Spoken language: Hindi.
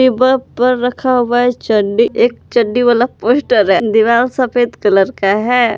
ऊपर ऊपर रखा हुआ चड्डी एक चड्डी वाला पोस्टर है दीवाल सफेद कलर का है।